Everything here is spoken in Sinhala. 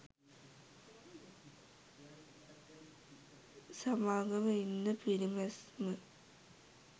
සමාගම ඉන්ධන පිරිමැස්ම